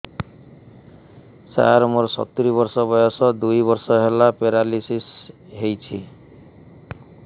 ସାର ମୋର ସତୂରୀ ବର୍ଷ ବୟସ ଦୁଇ ବର୍ଷ ହେଲା ପେରାଲିଶିଶ ହେଇଚି